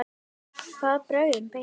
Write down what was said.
Hvaða brögðum beitti hann?